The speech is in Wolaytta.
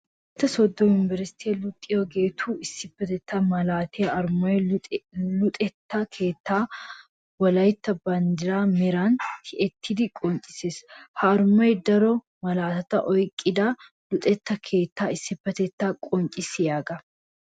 Wolaytta soodo yunbbersttiya luxiyagettu issipetetta malattiya arumay luxetta keettanne wolaytta banddira meran tiyettiddi qonccisees. Ha arumay daro malatatta oyqqidda luxetta keetta issippetetta qonccisiyaaga.